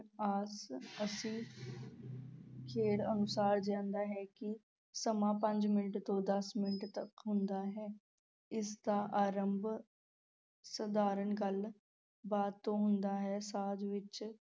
ਖੇਡ ਅਨੁਸਾਰ ਜਾਂਦਾ ਹੈ ਕਿ ਸਮਾਂ ਪੰਜ ਮਿੰਟ ਤੋਂ ਦਸ ਮਿੰਟ ਤੱਕ ਹੁੰਦਾ ਹੈ, ਇਸ ਦਾ ਅਰੰਭ ਸਧਾਰਨ ਗੱਲ-ਬਾਤ ਤੋਂ ਹੁੰਦਾ ਹੈ, ਸਾਜ ਵਿੱਚ